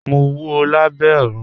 Mò n wọ̀ Lábẹ̀ Òrun.